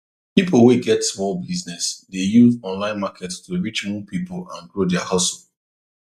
people wey get small business dey use online market to reach more people and grow their hustle